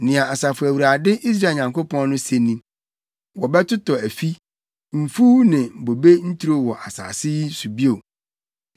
Nea Asafo Awurade, Israel Nyankopɔn no se ni: Wɔbɛtotɔ afi, mfuw ne bobe nturo wɔ asase yi so bio.’